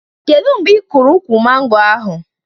Kedụ mgbe ị kụrụ ụkwụ mango ahụ